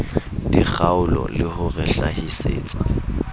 dikgaolo le ho re hlahisetsa